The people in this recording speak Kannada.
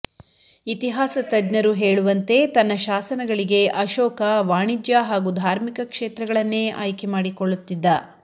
ಇತಿಹಾಸ ತಜ್ಞರು ಹೇಳುವಂತೆ ತನ್ನ ಶಾಸನಗಳಿಗೆ ಅಶೋಕ ವಾಣಿಜ್ಯ ಹಾಗೂ ಧಾರ್ಮಿಕ ಕ್ಷೇತ್ರಗಳನ್ನೇ ಆಯ್ಕೆ ಮಾಡಿಕೊಳ್ಳುತ್ತಿದ್ದ